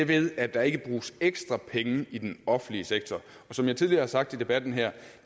ved at der ikke bruges ekstra penge i den offentlige sektor som jeg tidligere har sagt i debatten her